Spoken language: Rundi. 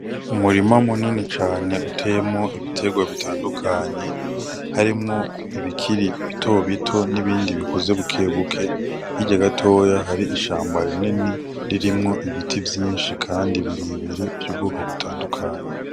Umurima munini cane uteyemwo ibiterwa bitandukanye, harimwo ibikiri bitobito n'ibindi bikuze bukebuke. Hirya gatoya hari ishamba rinini ririmwo ibiti vyinshi kandi birebire vy'ubwoko butandukanye.